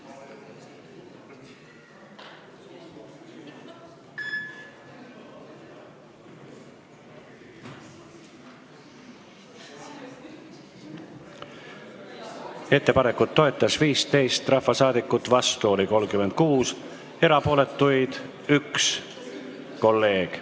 Hääletustulemused Ettepanekut toetas 15 ja vastu oli 36 rahvasaadikut, erapooletu oli 1 kolleeg.